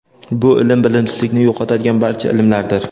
bu ilm bilimsizlikni yo‘qotadigan barcha ilmlardir.